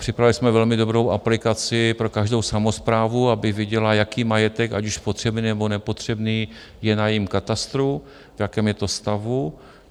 Připravili jsme velmi dobrou aplikaci pro každou samosprávu, aby viděla, jaký majetek, ať již potřebný, nebo nepotřebný, je na jejím katastru, v jakém je to stavu.